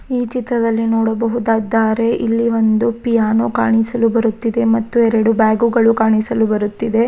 ಈ ಚಿತ್ರದಲ್ಲಿ ನೋಡಬಹುದ್ದದ್ದಾರೆ ಇಲ್ಲಿ ಒಂದು ಪಿಯಾನೊ ಕಾಣಿಸಲು ಬರುತ್ತಿದೆ ಮತ್ತೆ ಎರಡು ಬ್ಯಾಗ್ ಗಳು ಕಾಣಿಸಲು ಬರುತ್ತಿದೆ.